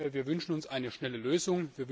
Wir wünschen uns eine schnelle Lösung.